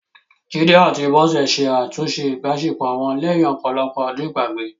Jide àti Bose ṣe àtúnṣe ìbáṣepọ̀ wọn lẹ́yìn ọ̀pọ̀lọpọ̀ ọdún ìgbàgbé